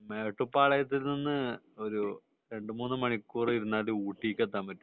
മേട്ടുപ്പാളയത്തിനു ഒരു രണ്ടു മൂന്നു മണിക്കൂർ ഇരുന്നാൽ ഊട്ടിക്ക് എത്താൻ പറ്റും